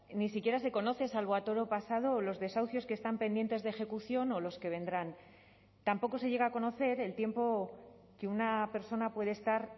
ni siquiera se conoce salvo a toro pasado los desahucios que están pendientes de ejecución o los que vendrán tampoco se llega a conocer el tiempo que una persona puede estar